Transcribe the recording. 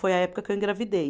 Foi a época que eu engravidei.